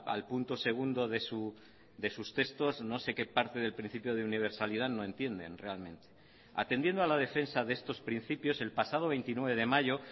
al punto segundo de sus textos no sé qué parte del principio de universalidad no entienden realmente atendiendo a la defensa de estos principios el pasado veintinueve de mayo